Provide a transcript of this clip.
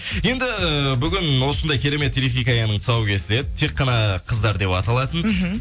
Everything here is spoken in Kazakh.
енді бүгін осындай керемет телехикаяның тұсауы кесіледі тек қана қыздар деп аталатын мхм